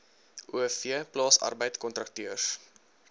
o v plaasarbeidkontrakteurs